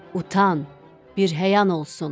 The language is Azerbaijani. Utan, bir həya olsun!”